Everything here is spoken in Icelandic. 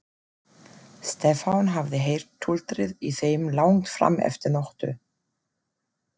Stefán hafði heyrt tuldrið í þeim langt fram eftir nóttu.